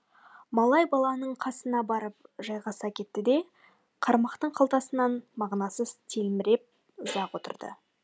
малай баланың қасына барып жайғаса кетті де қармақтың қалтасынан мағынасыз телміріп ұзақ отырды